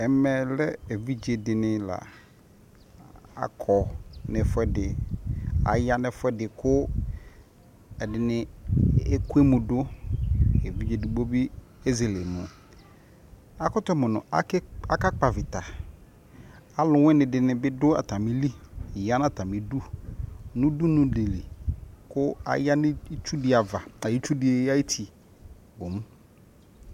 ɛmɛ lɛ evidze dini la akɔ no ɛfuɛ di aya no ɛfuɛdi ko ɛdini ɛku emu do evidze edigbo bi ezele emu akoto mo no aka kpɔ avita alowini dini bi do atamili ya no atami du no udunu di li ko aya no itsu di ava itsu di ayiti bom